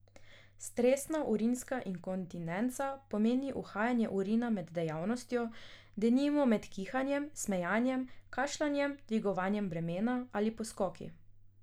Stresna urinska inkontinenca pomeni uhajanje urina med dejavnostjo, denimo med kihanjem, smejanjem, kašljanjem, dvigovanjem bremen ali poskoki.